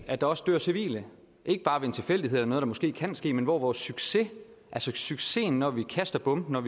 at der også dør civile ikke bare ved en tilfældighed eller noget der måske kan ske men hvor vores succes altså succesen når vi kaster bomben og